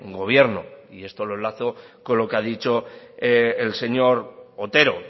gobierno y esto lo enlazo con lo que ha dicho el señor otero